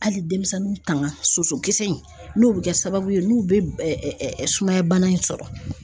Hali denmisɛnninw tanga sosokisɛ in n'o bɛ kɛ sababu ye n'u bɛ sumaya bana in sɔrɔ.